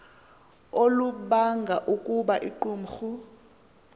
olubanga ukuba iqumrhu